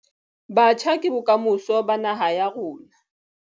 Batjha ke bokamoso ba naha ya rona.